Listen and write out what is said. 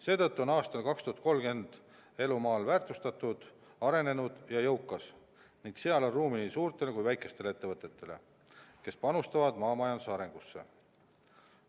Seetõttu on aastal 2030 elu maal väärtustatud, arenenud ja jõukas ning seal on ruumi nii suurtele kui ka väikestele ettevõtetele, kes panustavad maamajanduse arengusse.